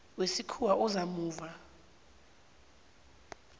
wesikhuwa oza muva